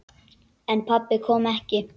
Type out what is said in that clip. En pabbi kom ekki.